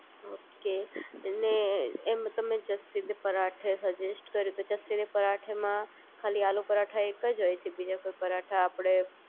okay અને જેમ તમે જેસી તે પરાઠે સજેસ્ટ કર્યું એમ જેસી દે પરાઠે મા ખાલી આલુ પરોઠા એક જ હોય છે બીજા કોઈ પરાઠા આપડે